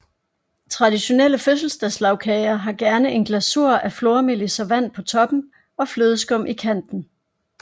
Traditionelle fødselsdagslagkager har gerne en glasur af flormelis og vand på toppen og flødeskum i kanten